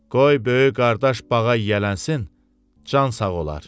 Qoy böyük qardaş bağa yiyələnsin, can sağ olar.